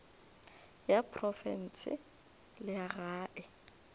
ya profense le ya gae